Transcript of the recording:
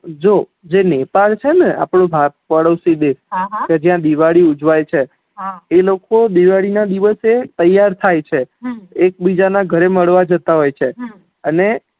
જો જે નેપાળ છે ને આપડો પાડોશી દેશ કે જ્યાં દિવાળી ઉજવાય છે એ લોકો દિવાળી ના દિવશે તૈયાર થાય છે એકબીજા ના ઘરે મળવા જેતા હોય છે હમ અને